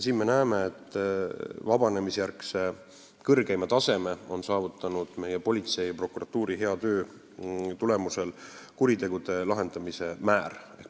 Me näeme, et politsei ja prokuratuuri hea töö tulemusel on kuritegude lahendamise määr saavutanud vabanemisjärgse aja kõrgeima taseme.